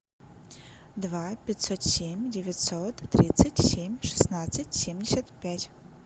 два пятьсот семь девятьсот тридцать семь шестнадцать семьдесят пять